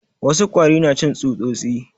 Wasu kwari na cin tsutsosi